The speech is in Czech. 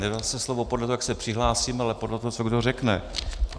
Nedá se slovo podle toho, jak se přihlásím, ale podle toho, co kdo řekne.